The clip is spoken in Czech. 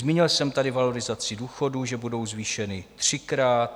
Zmínil jsem tady valorizaci důchodů, že budou zvýšeny třikrát.